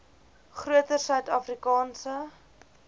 groter suid afrikaanse